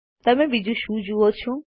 તમે બીજું શું જુઓ છો